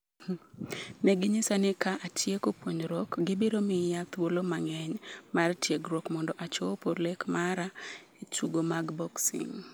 “Ne ginyisa ni ka atieko puonjruok, gibiro miya thuolo mang’eny mar tiegruok mondo achopo lek mara e tuke mag boxing.”